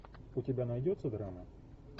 у тебя найдется драма